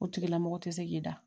O tigilamɔgɔ tɛ se k'i da